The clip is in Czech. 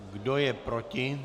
Kdo je proti?